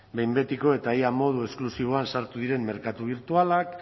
behin betiko eta ia modu esklusiboan sartu diren merkatu birtualak